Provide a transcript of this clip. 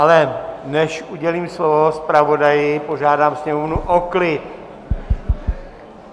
Ale než udělím slovo zpravodaji, požádám sněmovnu o klid!